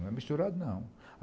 Não é misturado, não.